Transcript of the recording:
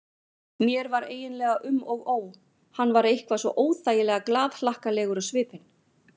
Mér var eiginlega um og ó, hann var eitthvað svo óþægilega glaðhlakkalegur á svipinn.